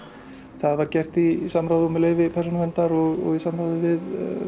það var gert í samráði og með leyfi Persónuverndar og í samráði við